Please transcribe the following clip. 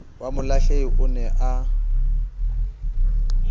wa molahlehi o ne a